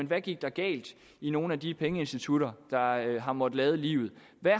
hvad gik der galt i nogle af de pengeinstitutter der har måttet lade livet